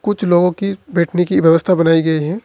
कुछ लोगों की बैठने की व्यवस्था बनाई गई है।